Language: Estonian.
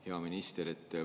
Hea minister!